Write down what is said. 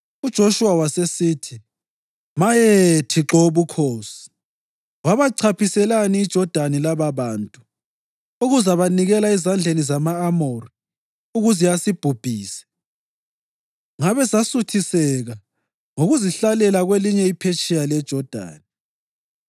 UJoshuwa wasesithi, “Maye, Thixo Wobukhosi, wabachaphiselani iJodani lababantu ukuzabanikela ezandleni zama-Amori ukuze asibhubhise? Ngabe sasuthiseka ngokuzihlalela kwelinye iphetsheya leJodani!